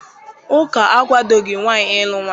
Ụka akwadoghị nwaanyị ịlụ nwaanyị